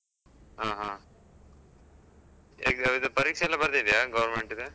ಆ ಹ, exam ಇದ್ ಪರೀಕ್ಷೆ ಎಲ್ಲ ಬರ್ದಿದ್ದ್ಯಾ government ದ್?